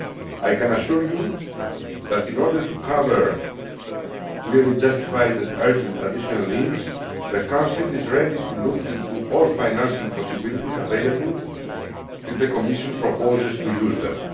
I can assure you that, in order to cover clearly justified and urgent additional needs, the Council is ready to look into all financing possibilities available if the Commission proposes to use them.